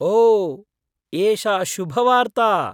ओ, एषा शुभवार्ता।